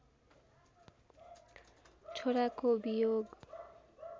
छोराको वियोग